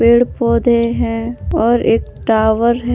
पेड़ पौधे हैं और एक टावर है।